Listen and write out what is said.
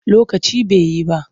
Lokaci ba yi ba.